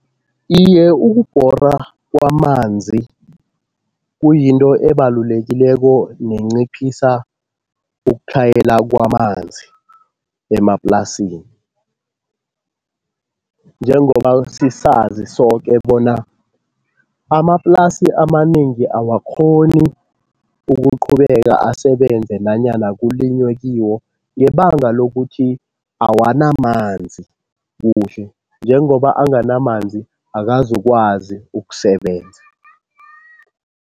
Iye ukubhorwa kwamanzi kuyinto ebalulekileko nenciphisa ukutlhayela kwamanzi emaplasini. Njengoba sisazi soke bona amaplasi amanengi awakghoni ukuqhubeka asebenze nanyana kulinywe kiwo ngebanga lokuthi awanamanzi kuhle, njengoba anganamanzi akazukwazi ukusebenza.